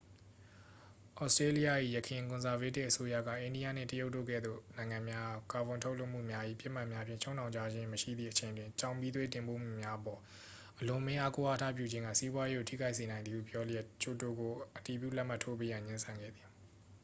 ဩစတေးလျ၏ ယခင်ကွန်ဆာဗေးတစ်အစိုးရက အိန္ဒိယနှင့် တရုတ်တို့ကဲ့သို့ နိုင်ငံများအား ကာဗွန်ထုတ်လွှတ်မှုများ၏ ပစ်မှတ်များဖြင့် ချုပ်နှောင်ထားခြင်းမရှိသည့်အချိန်တွင် ကျောက်မီးသွေးတင်ပို့မှုများအပေါ် အလွန်အမင်းအားကိုးအားထားပြုခြင်းက စီးပွားရေးကို ထိခိုက်စေနိုင်သည်ဟု ပြောလျက်ကျိုတိုကို အတည်ပြုလက်မှတ်ထိုးပေးရန် ငြင်းဆန်ခဲ့သည်